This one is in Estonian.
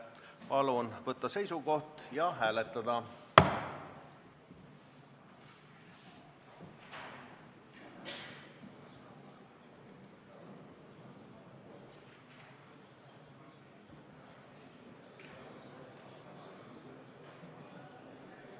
Palun võtta seisukoht ja hääletada!